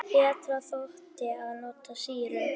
Betra þótti að nota sýru.